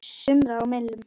sumra á millum.